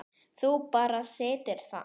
Þú bara situr þarna.